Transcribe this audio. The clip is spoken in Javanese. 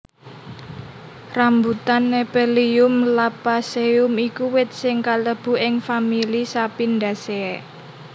Rambutan Nephelium lappaceum iku wit sing kalebu ing famili Sapindaceae